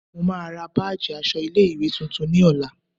Mo máa ra báàjì aṣọ ilé ìwé tuntun ní ọ̀la.